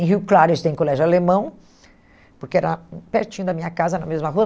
Em Rio Claro eu estudei em colégio alemão, porque era pertinho da minha casa, na mesma rua.